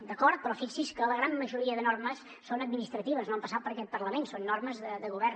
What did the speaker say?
d’acord però fixi’s que la gran majoria de normes són administratives no han passat per aquest parlament són normes de govern